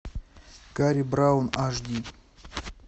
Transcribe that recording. карри браун аш ди